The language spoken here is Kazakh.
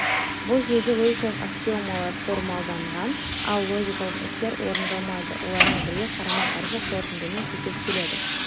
бұл жүйеде логикалық аксиомалар формалданған ал логикалық істер орындалмайды олармен бірге қарама қарсы қорытындымен сәйкес келетін